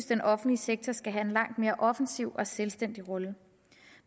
den offentlige sektor skal have en langt mere offensiv og selvstændig rolle